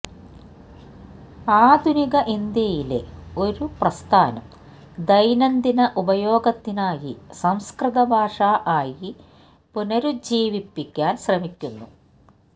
ആധുനിക ഇന്ത്യയിലെ ഒരു പ്രസ്ഥാനം ദൈനംദിന ഉപയോഗത്തിനായി സംസ്കൃതഭാഷ ആയി പുനരുജ്ജീവിപ്പിക്കാൻ ശ്രമിക്കുന്നു